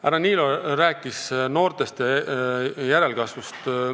Härra Niilo rääkis noortest, järelkasvust.